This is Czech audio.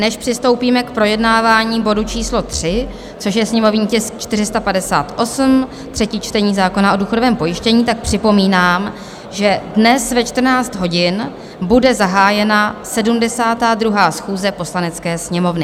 Než přistoupíme k projednávání bodu číslo 3, což je sněmovní tisk 458, třetí čtení zákona o důchodovém pojištění, tak připomínám, že dnes ve 14 hodin bude zahájena 72. schůze Poslanecké sněmovny.